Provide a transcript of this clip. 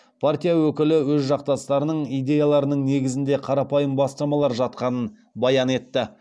партия өкілі өз жақтастарының идеяларының негізінде қарапайым бастамалар жатқанын баян етті